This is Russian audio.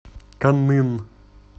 каннын